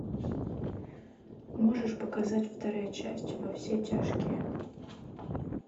можешь показать вторая часть во все тяжкие